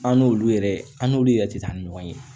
An n'olu yɛrɛ an n'olu yɛrɛ tɛ taa ni ɲɔgɔn ye